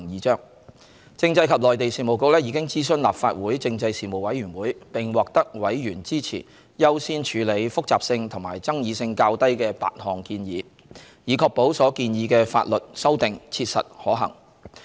政制及內地事務局已諮詢立法會政制事務委員會，並獲得委員支持優先處理複雜性和爭議性較低的8項建議，以確保所建議的法律修訂切實可行。